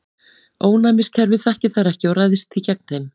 Ónæmiskerfið þekkir þær ekki og ræðst því gegn þeim.